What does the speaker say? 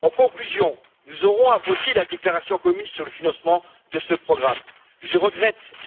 En conclusion, nous aurons à voter la déclaration commune sur le financement de ce programme, je regrette